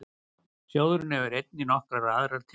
Sjóðurinn hefur einnig nokkrar aðrar tekjur.